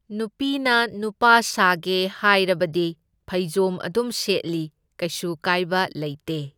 ꯅꯨꯄꯤꯅ ꯅꯨꯄꯥ ꯁꯥꯒꯦ ꯍꯥꯏꯔꯕꯗꯤ ꯐꯩꯖꯣꯝ ꯑꯗꯨꯝ ꯁꯦꯠꯂꯤ, ꯀꯩꯁꯨ ꯀꯥꯏꯕ ꯂꯩꯇꯦ꯫